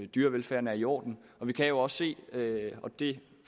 dyrevelfærden er i orden vi kan jo se og det